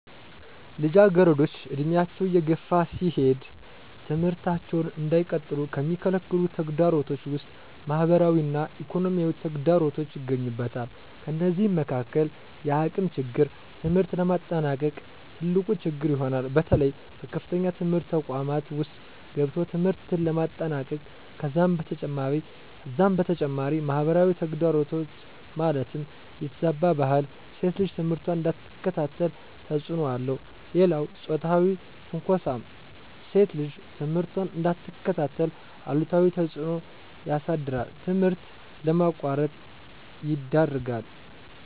ልጃገረዶች ዕድሜያቸው እየገፋ ሲሄድ ትምህርታቸውን እንዳይቀጥሉ ከሚከለክሉ ተግዳሮቶች ውስጥ ማህበራዊ እና ኢኮኖሚያዊ ተግዳሮቶች ይገኙበታል። ከነዚህም መካካል የአቅም ችግር ትምህርት ለማጠናቀቅ ትልቁ ችግር ይሆናል። በተለይ በከፍተኛ ትምህርት ተቋማት ውስጥ ገብቶ ትምህርትን ለማጠናቀቅ ከዛም በተጨማሪ ማህበራዊ ተግዳሮት ማለትም የተዛባ ባህል ሴት ልጅ ትምህርቷን እንዳትከታተል ተፅዕኖ አለው። ሌላው ፆታዊ ትንኳሳም ሴት ልጅ ትምህርቷን እንዳትከታተል አሉታዊ ተፅዕኖ ያሳድራል ትምህርት ለማቋረጥ ይዳርጋል።